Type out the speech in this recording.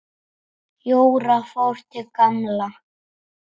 Jóra fór til Gamla.